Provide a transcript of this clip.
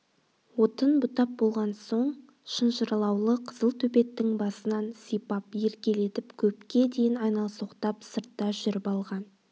отын бұтап болған соң шынжырлаулы қызыл төбеттің басынан сипап еркелетіп көпке дейін айналсоқтап сыртта жүрп алған